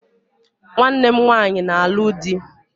Nwanne m nwaanyị na-alụ di